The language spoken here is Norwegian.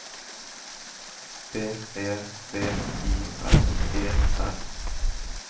B E V I S E R